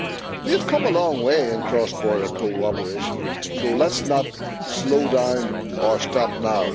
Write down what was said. We have come a long way in cross border cooperation, so let us not slow down or stop now.